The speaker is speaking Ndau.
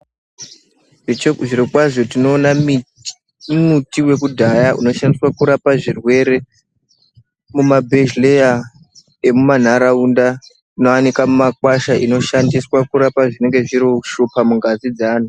Zviro kwazvo tinoona miti yekudhaya inoshandiswa kurapa zvirwere mumabhedhlera emuma nharaunda anowanikwa mumakwasha inoshandiswa kurapa zvinenge zviri kushupa mungazi dzevantu.